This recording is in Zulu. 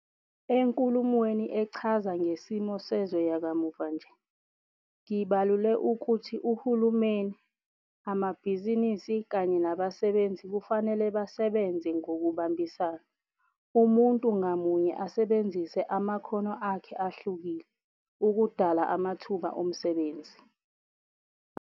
ENkulumweni Echaza Ngesimo Sezwe yakamuva nje, ngibalule ukuthi uhulumeni, amabhizinisi kanye nabasebenzi kufanele basebenze ngokubambisana, umuntu ngamunye asebenzise amakhono akhe ahlukile, ukudala amathuba omsebenzi.